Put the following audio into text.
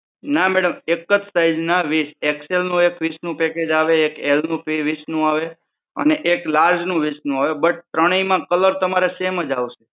ના madam એક જ size ના વીસ. XL નું એક વીસનું package આવે. એક L નું વીસનું આવે અને એક large નું વીસનું આવે but ત્રણેય માં colour તમારે same જ આવશે.